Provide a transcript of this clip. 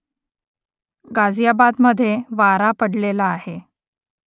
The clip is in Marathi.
गाझियाबादमध्ये वारा पडलेला आहे